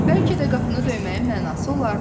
"Bəlkə də qapını döyməyin mənası olardı.